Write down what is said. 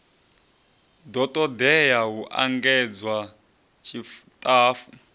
do ṱoḓea u engedzwa tshiṱafu